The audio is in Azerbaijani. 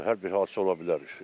Hər bir hadisə ola bilər.